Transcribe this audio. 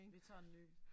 Vi tager en ny